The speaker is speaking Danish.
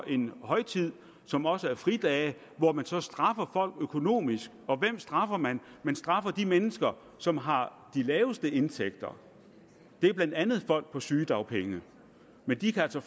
en højtid som også giver fridage og hvor man så straffer folk økonomisk og hvem straffer man man straffer de mennesker som har de laveste indtægter det er blandt andet folk på sygedagpenge men de kan altså